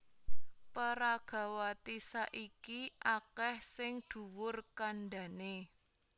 Peragawati saiki akèh sing dhuwur kandhané